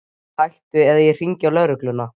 Hættu eða ég hringi á lögregluna!